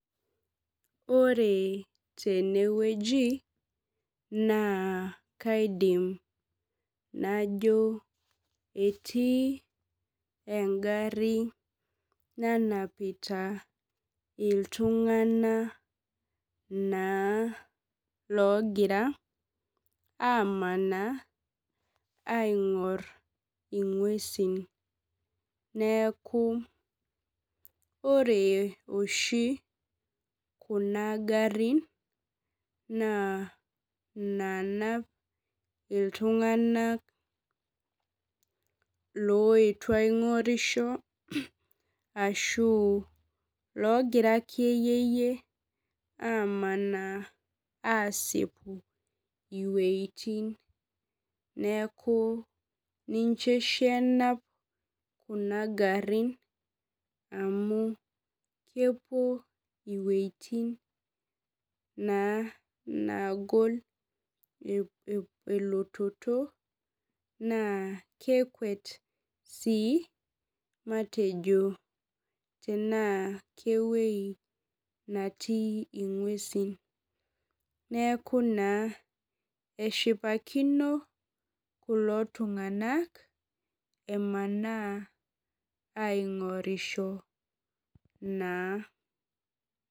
Ore tenewueji na kaidim najo etii engari nanapita ltunganak na logira amanaa aingur ngwesi neaku ore oshi kuna garin na nanap ltunganak oetuo aingorisho ashu ogira akeyie amanaa asipu wuejitin neaku ninche oshi enap kuna garin amu kepuo wuejitin nagol elototo naa kelwet si tenaa kewpi natii ngwesi neaku eshipakino kulo tunganak emanaa aingorisho na .